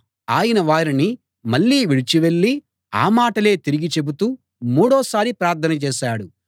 ఆయన వారిని మళ్ళీ విడిచి వెళ్ళి ఆ మాటలే తిరిగి చెబుతూ మూడోసారి ప్రార్థన చేశాడు